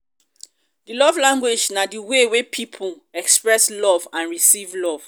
um di love language na di way wey people express and receive love.